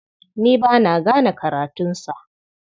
Ni ba na gane karatunsa.